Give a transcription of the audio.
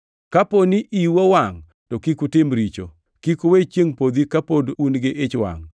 “Kaponi iu owangʼ, to kik utim richo.” + 4:26 \+xt Zab 4:4\+xt* Kik uwe chiengʼ podhi ka pod un gi ich wangʼ